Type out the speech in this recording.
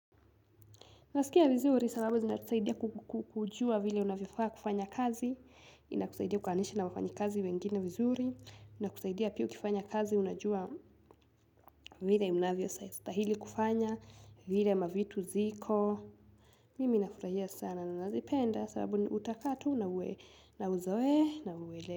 Naskia vizuri sababu zinatusaidia kujua vile unavyofaa kufanya kazi, inakusaidia kukaanisha na wafanyikazi wengine vizuri, inakusaidia pia ukifanya kazi unajua vile inavyostahili kufanya, vile mavitu ziko. Mimi nafurahia sana na nazipenda sababu ni utakaa tu na uzoee na uelewe.